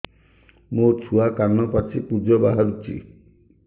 ମୋ ଛୁଆ କାନ ପାଚି ପୂଜ ବାହାରୁଚି